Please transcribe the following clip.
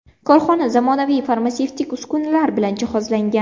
Korxona zamonaviy farmatsevtik uskunalar bilan jihozlangan.